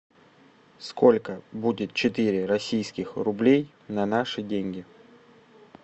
сколько будет четыре российских рублей на наши деньги